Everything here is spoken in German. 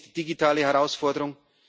Das eine ist die digitale Herausforderung.